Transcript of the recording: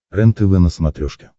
рентв на смотрешке